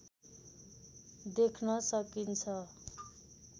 देख्न सकिन्छ